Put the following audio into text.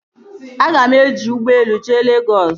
Aga m eji ụgbọelu jee Legọs